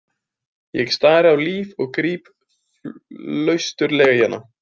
Ég stari á Líf og gríp flausturslega í hana.